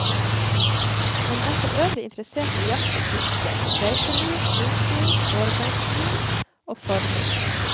Han er forøvrig interessert i jakt og fiske, reiseliv, foto, årgangsvin og forming.